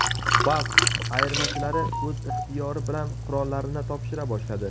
Bask ayirmachilari o‘z ixtiyori bilan qurollarini topshira boshladi.